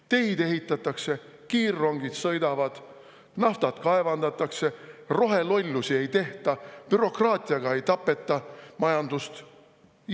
Teid ehitatakse, kiirrongid sõidavad, naftat kaevandatakse, rohelollusi ei tehta, bürokraatiaga ei tapeta majandust.